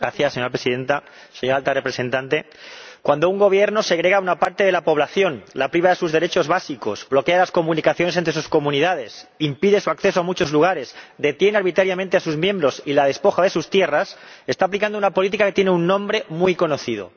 Señora Presidenta, señora Alta Representante, cuando un gobierno segrega a una parte de la población, la priva de sus derechos básicos, bloquea las comunicaciones entre sus comunidades, impide su acceso a muchos lugares, detiene arbitrariamente a sus miembros y la despoja de sus tierras, está aplicando una política que tiene un nombre muy conocido